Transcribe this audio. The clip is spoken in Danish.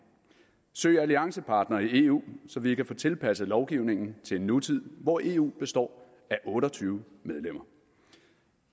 at søge alliancepartnere i eu så vi kan få tilpasset lovgivningen til en nutid hvor eu består af otte og tyve medlemmer